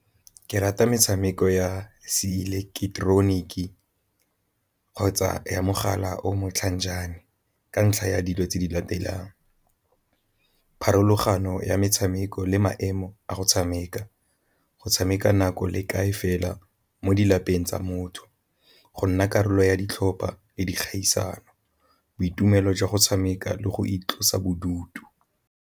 Ke rata metshameko ya se ileketeroniki kgotsa ya mogala o motlhajane ka ntlha ya dilo tse di latelang, pharologano ya metshameko le maemo emo a go tshameka, go tshameka nako le kae fela mo tsa motho, go nna karolo ya ditlhopha le dikgaisano, boitumelo jwa go tshameka le go itlosa bodutu.